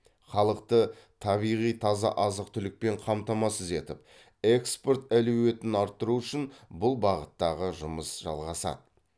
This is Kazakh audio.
халықты табиғи таза азық түлікпен қамтамасыз етіп экспорт әлеуетін арттыру үшін бұл бағыттағы жұмыс жалғасады